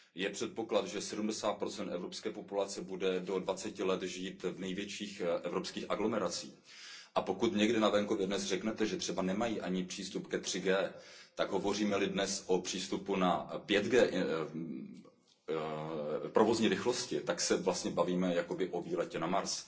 Je předpoklad, že 70 evropské populace bude do dvaceti let žít v největších evropských aglomeracích, a pokud někde na venkově dnes řeknete, že třeba nemají ani přístup ke 3G, tak hovoříme li dnes o přístupu k 5G provozní rychlosti, tak se vlastně bavíme jakoby o výletu na Mars.